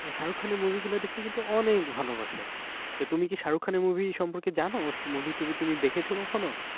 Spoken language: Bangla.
ও শাহরুখ খানের movie গুলো দেখতে কিন্তু অনেক ভালোবাসে তা তুমি কি শাহরুখ খানের movie সম্পর্কে জানো ওর movie তুভি দেখেছো তুমি কখনো?